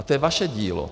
A to je vaše dílo.